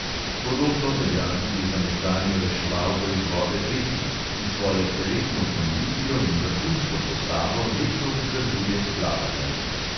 Podobno velja tudi za nekdanjo reševalko iz vode beti, ki svojo telesno kondicijo in vrhunsko postavo redno vzdržuje s plavanjem.